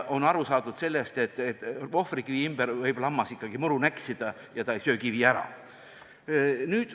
On aru saadud, et ohvrikivi ümber võib lammas ikkagi rohtu näksida ja ta ei söö kivi ära.